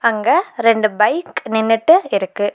அங்க ரெண்டு பைக் நின்னுட்டு இருக்கு.